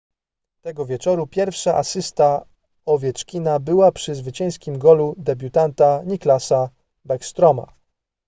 tego wieczoru pierwsza asysta owieczkina była przy zwycięskim golu debiutanta nicklasa backstroma